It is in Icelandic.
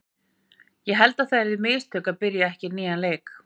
Ég held að það yrðu mistök að byrja ekki á nýjan leik.